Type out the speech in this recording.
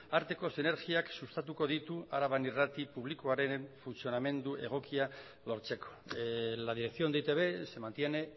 arteko sinergiak sustatuko ditu araban irrati publikoaren funtzionamendu egokia lortzeko la dirección de e i te be se mantiene